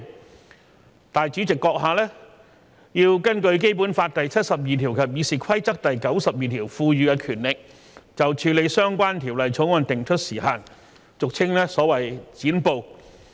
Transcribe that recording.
立法會主席閣下要根據《基本法》第七十二條及《議事規則》第92條賦予的權力，就處理相關條例草案定出時限，俗稱"剪布"。